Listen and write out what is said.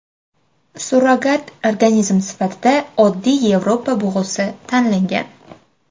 Surrogat organizm sifatida oddiy Yevropa bug‘usi tanlangan.